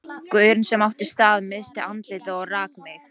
Gaurinn sem átti staðinn missti andlitið og rak mig.